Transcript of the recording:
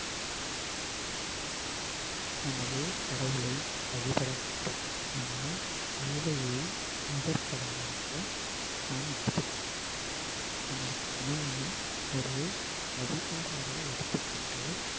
நமது கடவுளை வழிபடவேண்டும் ஆனால் வேலையை முதற்கடவுளாக நாம் எடுத்து நமது பணியை ஒரு வழிபாடாக எடுத்துக்கொண்டு